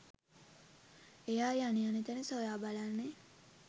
එයා යන යන තැන සොයා බලන්නේ